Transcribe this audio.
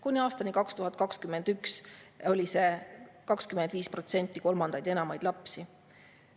Kuni aastani 2021 oli 25% rohkem kolmandaid ja enamaid lapsi.